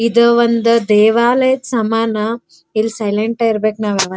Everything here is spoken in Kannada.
ಇದು ಒಂದು ದೇವಾಲಯಕ್ಕೆ ಸಮಾನ ಇಲ್ ಸೈಲೆಂಟ್ ಆಗಿರ್ಬೇಕು ನಾವ್ ಯಾವ --